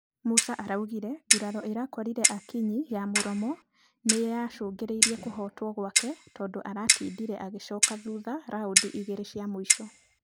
Musa araugire guraro ĩrakorire akinyi ya mũromo nĩyacangĩire kũhotwo gwake tũndũ aratindire agĩcoka thutha raundi igĩrĩ cia mũico.